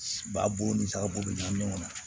Ba bo ni saga bo ɲami ɲɔgɔn na